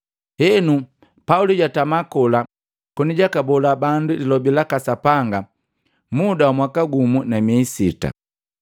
Henu, Pauli jwatamakola koni jwaka bola bandu lilobi laka Sapanga muda wa mwaka gumu na miei sita.